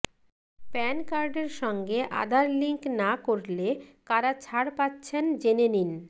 pan কার্ডের সঙ্গে Aadhaar link না করলে কারা ছাড় পাচ্ছেন জেনে নিন